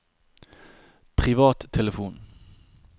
privattelefon